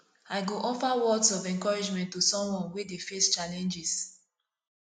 i go offer words of encouragement to someone wey dey face challenges